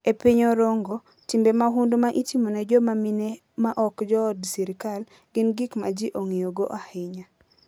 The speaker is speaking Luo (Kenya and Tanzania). E piny Orongo, timbe mahundu ma itimo ne joma mine ma ok jood sirkal gin gik ma ji ong'iyogo ahinya.